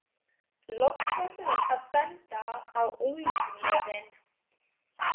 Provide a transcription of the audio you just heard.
Loks fór hún að benda á úlnliðinn.